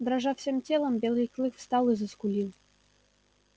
дрожа всем телом белый клык встал и заскулил